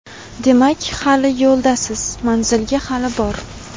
demak hali yo‘ldasiz manzilga hali bor.